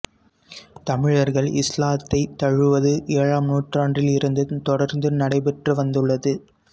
தமிழர்கள் இஸ்லாத்தை தழுவுவது ஏழாம் நூற்றாண்டிலிருந்து தொடர்ந்து நடைபெற்று வந்துள்ளது